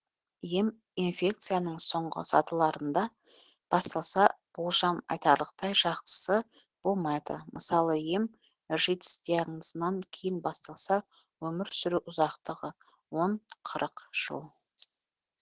ем инфекцияның соңғы сатыларында басталса болжам айтарлықтай жақсы болмайды мысалы ем житс диагнозынан кейін басталса өмір сүру ұзақтығы он қырық жыл